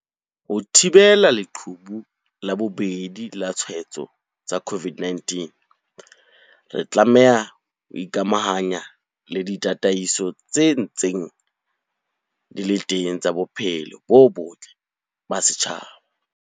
Ho thibela leqhubu la bobedi la ditshwaetso tsa COVID-19, re tlameha ho ikamahanya le ditataiso tse ntseng di le teng tsa bophelo bo botle ba setjhaba.